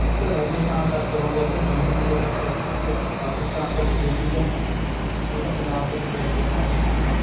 ਉੱਥੇ ਰਾਜਸਥਾਨ ਤੱਕ ਹੋ ਗਿਆ ਤਾ ਜੰਮੂ ਤੱਕ ਪਾਕਿਸਤਾਨ ਤਾਂ ਵਿੱਚ ਈ ਸੀਗਾ ਉਹ ਤਾਂ ਪੰਜਾਬ ਚ ਕੱਟਿਆ ਗਿਆ ਪਾਕਿਸਤਾਨ ਤਾਂ